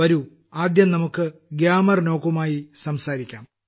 വരൂ ആദ്യം നമുക്ക് ഗ്യാമർന്യോകുമായി സംസാരിക്കാം